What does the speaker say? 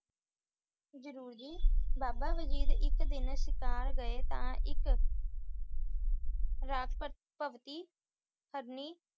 ਜ਼ਰੂਰ ਜੀ ਬਾਬਾ ਵਜੀਦ ਇੱਕ ਦਿਨ ਸ਼ਿਕਾਰ ਗਏ ਤਾਂ ਇੱਕ ਹਰਨੀ